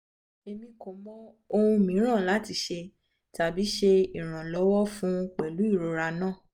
emi ko mọ ohun miiran lati ṣe tabi ṣe iranlọwọ fun pẹlu irora naa